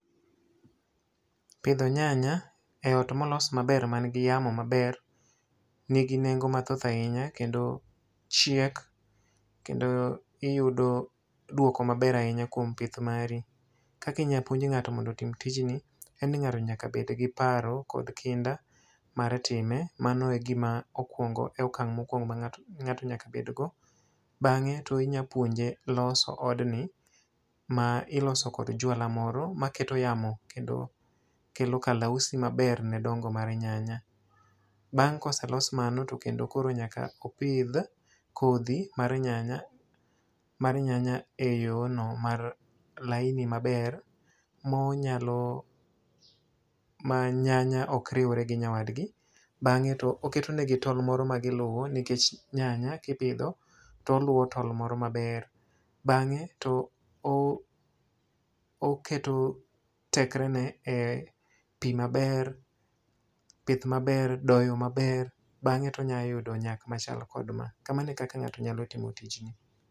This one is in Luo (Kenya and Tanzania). Pidho nyanya e ot molos maber ma nigi yamo maber, nigi nengo mathoth ahinya kendo chiek, kendo iyudo duoko maber ahinya kuom pith mari. Kaka inyalo puonj ngáto kuom timo tijni, en ni ng'ano nyaka bed gi paro kod kinda mar time. Mano e gima okwongo, e okang' mokwong ma ngato ngáto nyaka bed go. Bangé to inyalo puonje loso odni, ma iloso kod juala moro ma keto yamo kendo kelo kalausi maber ne dongo mar nyanya. Bang' ka oselos mano to kendo koro nyaka opidh kodhi mar nyanya, mar nyanya e yo no mar laini maber, ma onyalo, ma nyanya ok riure gi nyawadgi. Bangé to oketone gi tol moro ma giluwo nikech nyanya kipidho to oluwo tol moro maber, bangé to o oketo tekre ne e pi maber, pith maber, doyo maber, bangé to onyalo yudo nyak machal kod ma. Kamano e kaka ngáto nyalo timo tijni.